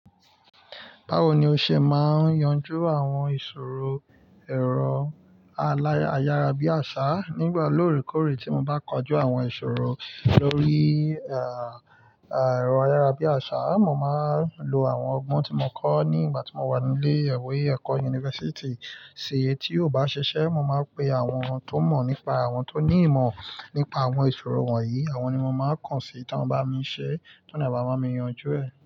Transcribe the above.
Báwo ni o ṣe máa yanju àwọn ìṣòro èrò alara ayara bí àṣá. Nígbà lóòrèkóòrè tí mo bá kọjú àwọn ìṣòro lórí, ah ah, ah, ẹ̀rọ ayara bí àṣá, mo máa n lo àwọn ọgbọ́n tí mo kọ́ nígbà tí mo wà nílé ìwé ẹ̀kọ́ yunifásítì si. Tí ó bá ṣiṣẹ́, mo máa n pe àwọn tó mọ̀ nípa àwọn tó ní ìmọ̀ nípa àwọn ìṣòro wọ̀nyí. Àwọn ni mo máa kàn sí tí wọ́n bá mi ṣe, tí wọ́n a baa ba mi yanjú ẹ.